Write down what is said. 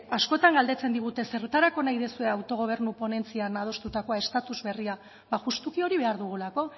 askotan galdetzen digute zertarako nahi duzue autogobernu ponentzian adostutakoa estatus berria ba justuki hori behar dugulako